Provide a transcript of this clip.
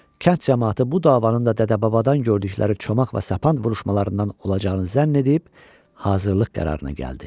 Kənd camaatı bu davanın da dədə-babadan gördükləri çomaq və sapan vuruşmalarından olacağını zənn edib hazırlıq qərarına gəldi.